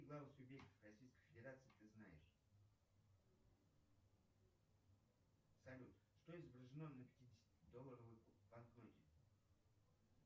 российской федерации ты знаешь салют что изображено на пятидесяти долларовой банкноте